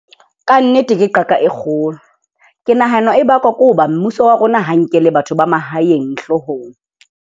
Kannete, ke qaka e kgolo. Ke nahana e bakwa ke hoba mmuso wa rona ha o nkele batho ba mahaeng hloohong.